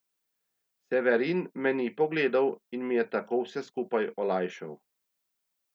Severin me ni pogledal in mi je tako vse skupaj olajšal.